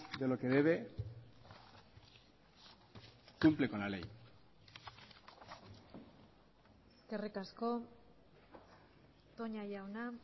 de lo que debe cumple con la ley eskerrik asko toña jauna